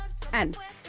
en